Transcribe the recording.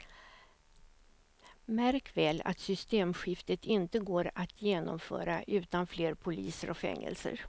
Märk väl att systemskiftet inte går att genomföra utan fler poliser och fängelser.